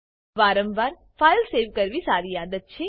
વારંવાર file save કરવી સારી આદત છે